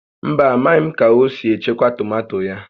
Mba, amaghị m ka o si echekwa tomato ya